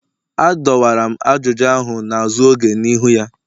Adọwara m ajụjụ ahụ n'azụ oge n'ihu ya